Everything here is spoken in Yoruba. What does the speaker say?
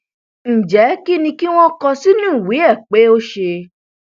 ǹjẹ kín ni kí wọn kọ sínú ìwé ẹ pé ó ṣe